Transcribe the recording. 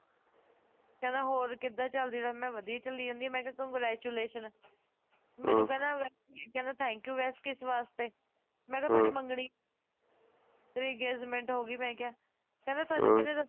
ਕਹਿੰਦਾ ਹੋਰ ਕਿੱਦਾਂ ਚਲਦੀ life ਮੈਂ ਕਿਹਾ ਵਧਿਆ ਚਲੀ ਜਾਣੀ ਮੈਂ ਕਿਹਾ congratulations ਹਾਂ ਮੈਨੂੰ ਕਹਿੰਦਾ thank you ਵੈਸੇ ਕਿਸ ਵਾਸਤੇ ਹਾਂ ਮੈਂ ਕਿਹਾ ਤੁਹਾਡੀ ਮੰਗਣੀ ਤੁਹਾਡੀ engagement ਹੋ ਗਈ ਮੈਂ ਕਿਹਾ ਹਾਂ ਕਹਿੰਦਾ ਤੁਹਾਨੂੰ ਕਿਸਨੇ ਦੱਸਿਆ